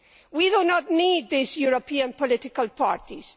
We do not need these European political parties.